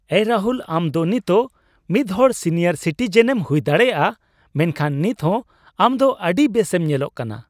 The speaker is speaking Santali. ᱮᱭ ᱨᱟᱦᱩᱞ, ᱟᱢ ᱫᱚ ᱱᱤᱛᱚᱜ ᱢᱤᱫᱦᱚᱲ ᱥᱤᱱᱤᱭᱟᱨ ᱥᱤᱴᱤᱡᱮᱱᱮᱢ ᱦᱩᱭ ᱫᱟᱲᱮᱭᱟᱜᱼᱟ, ᱢᱮᱱᱠᱷᱟᱱ ᱱᱤᱛ ᱦᱚᱸ ᱟᱢ ᱫᱚ ᱟᱹᱰᱤ ᱵᱮᱥᱮᱢ ᱧᱮᱞᱚᱜ ᱠᱟᱱᱟ ᱾